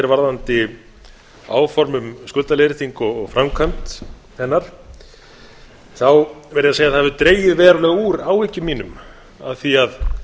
varðandi áform um skuldaleiðréttingu og framkvæmd hennar þá verð ég að segja að það hefur dregið verulega úr áhyggjum mínum af því að